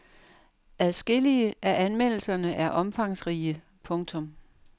Adskillige af anmeldelserne er omfangsrige. punktum